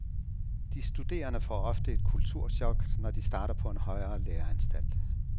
De studerende får ofte et kulturchok, når de starter på en højere læreanstalt.